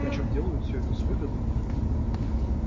причём делают все это с выгодой